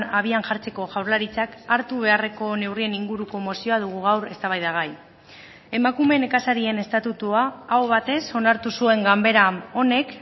abian jartzeko jaurlaritzak hartu beharreko neurrien inguruko mozioa dugu gaur eztabaidagai emakume nekazarien estatutua aho batez onartu zuen ganbera honek